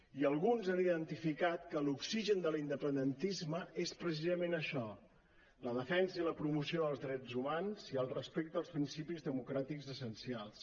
i alguns han identificat que l’oxigen de l’independentisme és precisament això la defensa i la promoció dels drets humans i el respecte als principis democràtics essencials